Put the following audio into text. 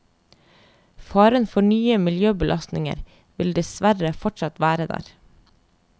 Faren for nye miljøbelastninger vil dessverre fortsatt være der.